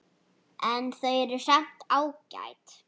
En þau eru samt ágæt.